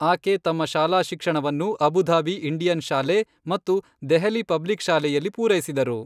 ಆಕೆ ತಮ್ಮ ಶಾಲಾ ಶಿಕ್ಷಣವನ್ನು ಅಬು ಧಾಬಿ ಇಂಡಿಯನ್ ಶಾಲೆ ಮತ್ತು ದೆಹಲಿ ಪಬ್ಲಿಕ್ ಶಾಲೆಯಲ್ಲಿ ಪೂರೈಸಿದರು.